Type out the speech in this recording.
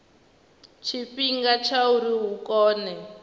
tshifhinga tsha uri hu kone